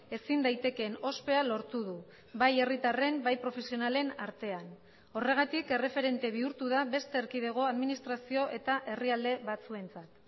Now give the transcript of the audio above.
ezin daitekeen ospea lortu du bai herritarren bai profesionalen artean horregatik erreferente bihurtu da beste erkidego administrazio eta herrialde batzuentzat